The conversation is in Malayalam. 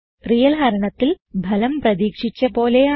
റിയൽ ഹരണത്തിൽ ഫലം പ്രതീക്ഷിച്ച പോലെയാണ്